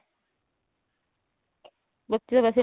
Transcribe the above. ਬੱਚੇ ਵੈਸੇ